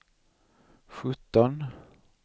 sjutton